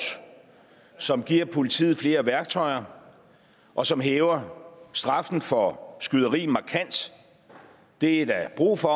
som giver politiet flere værktøjer og som hæver straffen for skyderi markant og det er der brug for